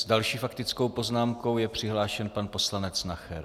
S další faktickou poznámkou je přihlášen pan poslanec Nacher.